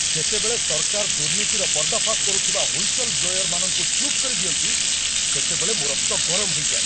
ଯେତେବେଳେ ସରକାର ଦୁର୍ନୀତିର ପର୍ଦ୍ଦାଫାସ କରୁଥିବା ହ୍ୱିସଲ୍‌ବ୍ଲୋୟର୍ମାନଙ୍କୁ ଚୁପ୍ କରିଦିଅନ୍ତି, ସେତେବେଳେ ମୋ ରକ୍ତ ଗରମ ହୋଇଯାଏ।